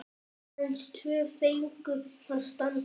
Aðeins tvö fengu að standa.